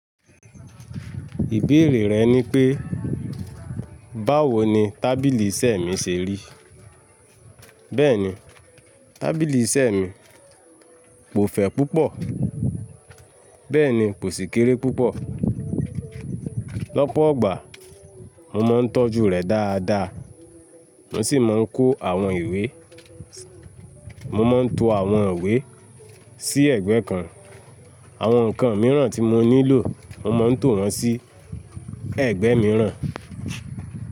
Ìbéèrè rẹ ni pé, báwo ni tábìlì isẹ́ mi se rí? Bẹ́ẹ̀ni, tábìlì iṣẹ́ mi kò fẹ̀ púpọ̀, bẹ́ẹ̀ni kò sì kéré púpọ̀. Lọ́pọ̀ gbà mo máa ń tọ́jú rẹ̀ dáa dáa. Mo sì máa ń kó àwọn ìwé, mo máa ń to àwọn ìwé sí ẹ̀gbẹ́ kan. Àwọn nǹkan mìíràn tí mo nílò mo máa ń to wọn sí ẹ̀gbẹ́ mìíràn.